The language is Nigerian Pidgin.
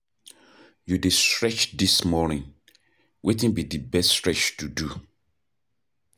You dey stretch dis morning, wetin be di best stretch to do?